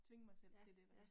Ja ja